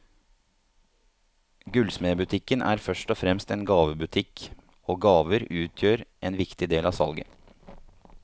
Gullsmedbutikken er først og fremst en gavebutikk, og gaver utgjør en viktig del av salget.